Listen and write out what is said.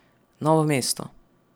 Novo mesto.